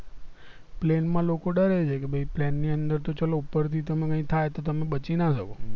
plane માં લોકો દરે છે કે ભય plane ની અંદર તો ચલો ઉપર થી તમે કૈક થાય તો તમે બચી ના શકો